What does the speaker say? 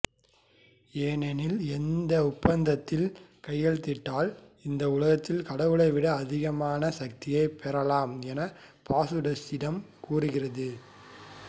ஏனெனில் இந்த ஒப்பந்தத்தில் கையெழுத்திட்டால் இந்த உலகத்தில் கடவுளைவிட அதிகமான சக்தியை பெறலாம் என பாசுடசிடம் கூறுகின்றது